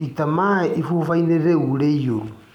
Ita maĩ ibuba-inĩ rĩu rĩirũ.